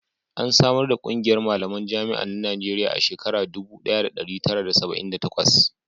an samar ƙungiyar malaman jami'an na Najeriya a shekara dubu daya da dari tara da saba'in da takwas